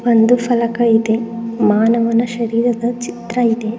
ಒಂದು ಫಲಕ ಇದೆ ಮಾನವನ ಶರೀರದ ಚಿತ್ರ ಇದೆ.